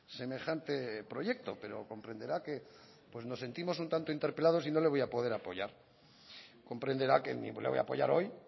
semejante proyecto pero comprenderá que nos sentimos un tanto interpelados y no lo voy a poder apoyar comprenderá que ni le voy a apoyar hoy